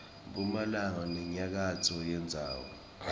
mphumalanga nenyakatfo yendzawo